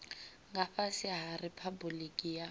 nga fhasi ha riphabuliki ya